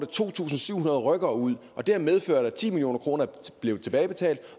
to tusind syv hundrede rykkere ud og det har medført at ti million kroner er blevet tilbagebetalt